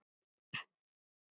Hvar stöndum við þá?